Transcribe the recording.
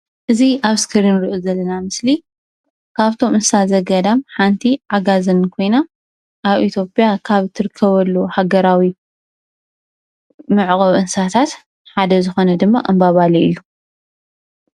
እዚ ኣብ ስክሪን ንሪኦ ዘለና ምስሊ ካብቶም እንስሳ ዘገዳም ሓንቲ ዓጋዜን ኮይና ኣብ ኢትዮጵያ ካብ ትርከበሉ ሃገራዊ መዕቆቢ እንስሳታት ሓደ ዝኮነ ድማ እምባ ባሌ እዩ።